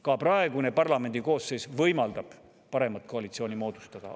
Ka praegune parlamendikoosseis võimaldab parema koalitsiooni moodustada.